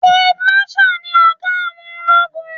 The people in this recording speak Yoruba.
Field marshal ni ọ̀gá àwọn ológun.